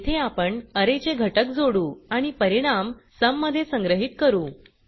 येथे आपण अरे चे घटक जोडू आणि परिणाम सुम मध्ये संग्रहित करू